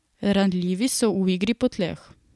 Ranljivi so v igri po tleh.